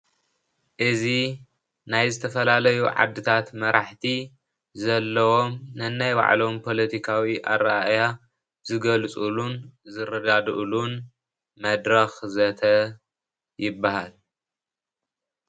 እዚ ናይ ዝተፈላለዩ ዓድታት መራሕቲ ዘለውዎሞ ነናይ ባዕሎም ፓለቲካዊ ኣረኣእያ ዝገልፅሉን ዝረዳድእሉን መድረኽ ዘተ ይበሃል።